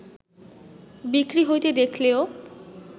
বিক্রি হইতে দেখলেও